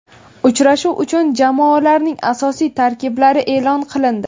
Uchrashuv uchun jamoalarning asosiy tarkiblari e’lon qilindi.